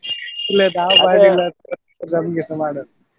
ಇಲ್ಲ ನಾವ್ ನಮ್ಗೆಸಾ ಮಾಡಲ್ಲ.